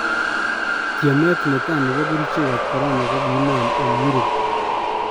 tiemet netaa nepo kerichek ap Korona kogi inam en Europ